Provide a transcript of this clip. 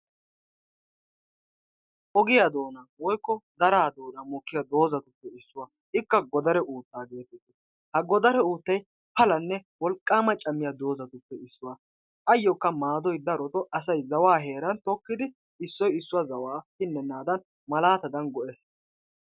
Ogiya doonan woykko daraa doonan mokkiya dozatuppe issuwa. Ikka godaree utta getetees. Ha godaree uttay pallane wolqqama cammiya dozatuppe issuwa. Ayokka maadoy darotto zawaa heeran tokkidi issoy issuwa zawaa pinnenadan malaatadan go'ees.